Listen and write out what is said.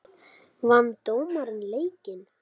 Vann dómarinn leikinn?